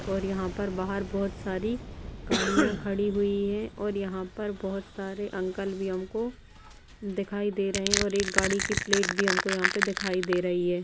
और यहाँ पर बाहर बहोत सारी गाड़ियाँ खड़ी हुई हैं और यहाँ पर बहोत सारे अंकल भी हमको दिखाई दे रहे हैं और एक गाड़ी की प्लेट भी हमको यहाँ पे दिखाई दे रही है।